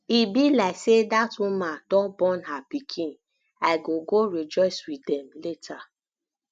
e be like say dat woman don born her pikin i go go rejoice with dem later